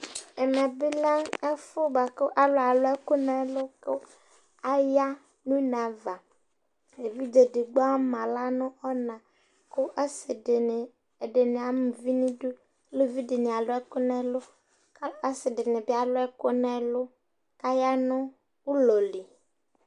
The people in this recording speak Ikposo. ɛmɛ lɛ ɛfʊ bua alʊ alʊɛkʊ nʊ ɛlʊ, kʊ aya nʊ une ava evidze edigbo ama aɣla nʊ ɔna, kʊ asɩdɩnɩ ama uvi nʊ idu, aluvidɩnɩ alʊ ɛkʊ nʊ ɛlʊ , kʊ asidɩnɩ bɩ alʊ ɛkʊ kʊ aya nʊ ʊlɔ li